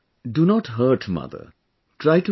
Prem Ji do not hurt mother